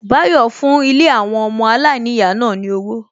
Bayo fún Ilé àwọn ọmọ aláìníyàá náà ní owó